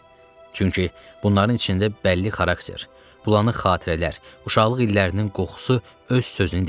Çünki bunların içində bəlli xarakter, bulanıq xatirələr, uşaqlıq illərinin qoxusu öz sözünü deyir.